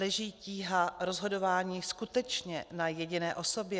Leží tíha rozhodování skutečně na jediné osobě?